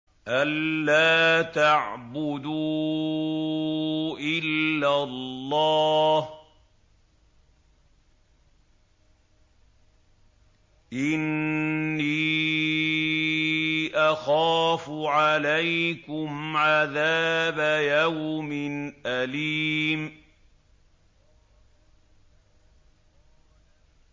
أَن لَّا تَعْبُدُوا إِلَّا اللَّهَ ۖ إِنِّي أَخَافُ عَلَيْكُمْ عَذَابَ يَوْمٍ أَلِيمٍ